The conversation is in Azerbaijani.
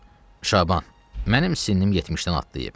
Bala, Şaban, mənim sinnim 70-dən atlayıb.